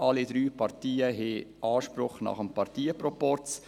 Alle drei Parteien haben Anspruch nach dem Parteienproporz.